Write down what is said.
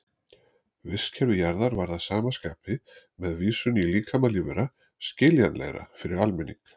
Vistkerfi Jarðar varð að sama skapi, með vísun í líkama lífvera, skiljanlegra fyrir almenning.